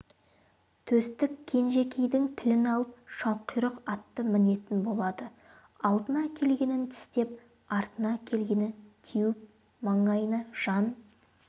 төстік кенжекейдің тілін алып шалқұйрық атты мінетін болады алдына келгенін тістеп артына келгенін теуіп маңайына жан